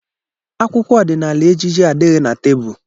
Akwụkwọ ọdịnaala ejije adịghị na tebụl.